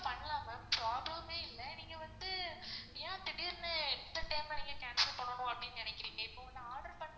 கண்டிப்பா பண்லாம் ma'am problem ஏ இல்ல, நீங்க வந்து ஏன் திடிர்னு இந்த time ல cancel பண்ணனும்னு அப்படின்னு நினைக்குறீங்க இப்போ வந்து order பண்ணும் போது